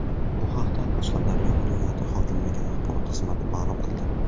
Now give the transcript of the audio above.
Bu haqda Qashqadaryo viloyati hokimligi axborot xizmati ma’lum qildi.